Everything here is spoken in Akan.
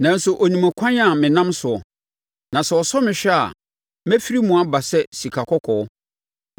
Nanso, ɔnim ɛkwan a me nam soɔ; na sɛ ɔsɔ me hwɛ a, mɛfiri mu aba sɛ sikakɔkɔɔ.